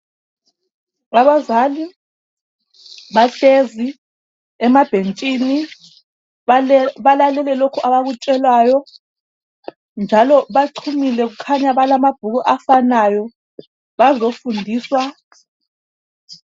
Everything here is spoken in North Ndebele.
Abazali behlezi emabhentshini. Balalele lokho abakutshelwayo, njalo bachumile, kukhanya balamabhuku afanayo. Bazefundiswa.